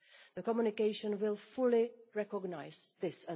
The communication too will fully recognise this.